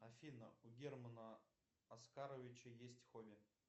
афина у германа оскаровича есть хобби